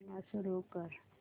पुन्हा सुरू कर